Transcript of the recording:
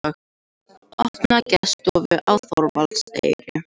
Opna gestastofu á Þorvaldseyri